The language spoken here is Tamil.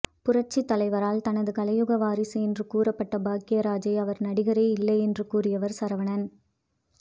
புரட்சித் தலைவரால் தனது கலையுலக வாரிசு என்று கூறப்பட்ட பாக்யராஜை அவர் நடிகரே இல்லை என்று கூறியவர் சரவணன்